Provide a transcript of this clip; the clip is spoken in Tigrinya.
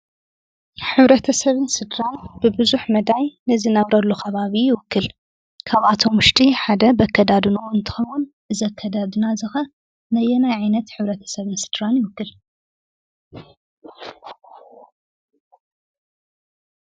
ሕብረተሰብን ስድራን ብቡዙሕ መዳይ ንዝነብረሉ ከባቢ ይውክል። ካብኣቶም ውሽጢ ሓደ በኣከዳድንኡ እንትከውን እዚ ኣከዳድና እዚ ከ ነየናይ ዓይነት ሕብተረሰብን ስድራይ ይውክል ?